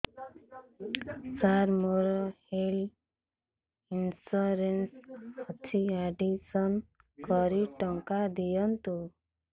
ସାର ମୋର health insurance ଅଛି admission କରି ଟଙ୍କା ଦିଅନ୍ତୁ